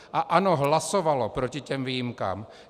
A ANO hlasovalo proti těm výjimkám.